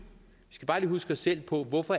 os selv på hvorfor